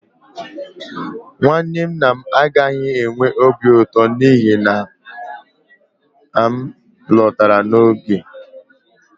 nwanne nna m agaghị enwe obi ụtọ n'ihi na m lọtara n'oge